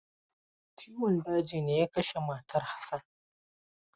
Ciwon daji ne ya kashe matar Hassan.